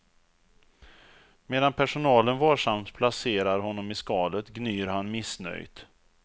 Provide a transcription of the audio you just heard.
Medan personalen varsamt placerar honom i skalet gnyr han missnöjt.